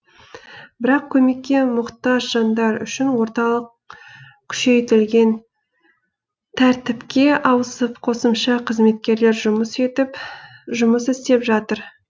бірақ көмекке мұқтаж жандар үшін орталық күшейтілген тәртіпке ауысып қосымша қызметкерлер жұмыс істеп жатыр